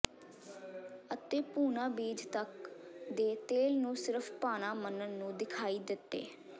ਅਤੇ ਭੂਨਾ ਬੀਜ ਤੱਕ ਦੇ ਤੇਲ ਨੂੰ ਸਿਰਫ਼ ਭਾਣਾ ਮੰਨਣ ਨੂੰ ਦਿਖਾਈ ਦਿੱਤੇ